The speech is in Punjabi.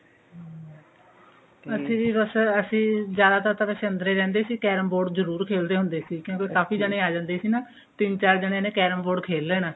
ਅਸੀਂ ਵੀ ਬਸ ਅਸੀਂ ਵੀ ਜਿਆਦਾਤਰ ਤਨਕ ਵੈਸੇ ਅੰਦਰੇ ਰਹਿੰਦੇ ਸੀ carrom board ਜਰੂਰ ਖੇਲਦੇ ਹੁੰਦੇ ਸੀ ਕਿਉਂਕਿ ਕਾਫੀ ਜਣੇ ਆ ਜਾਂਦੇ ਸੀ ਨਾ ਤਿੰਨ ਚਾਰ ਜਣਿਆ ਨੇ carrom board ਖੇਲ ਲੈਣਾ